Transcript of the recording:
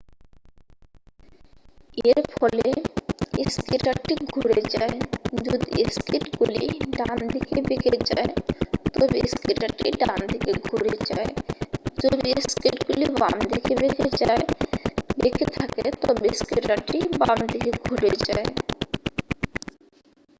এর ফলে স্কেটারটি ঘুরে যায় যদি স্কেটগুলি ডানদিকে বেঁকে থাকে তবে স্কেটারটি ডানদিকে ঘুরে যায় যদি স্কেটগুলি বাম দিকে বেঁকে থাকে তবে স্কেটারটি বাম দিকে ঘুরে যায়